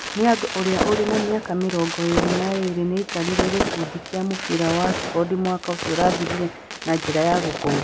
Niang ũrĩa ũrĩ na mĩaka mĩrongo ĩĩrĩ na ĩĩrĩ nĩ aikarire gĩkundi kĩa mũbira kĩa Watford mwaka ũcio ũrathirire na njĩra ya gũkomba.